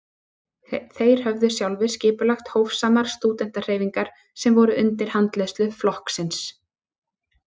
Þeir höfðu sjálfir skipulagt hófsamar stúdentahreyfingar sem voru undir handleiðslu flokksins.